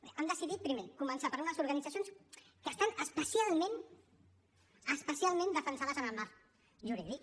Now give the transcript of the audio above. bé han decidit primer començar per unes organitzacions que estan especialment especialment defensades en el marc jurídic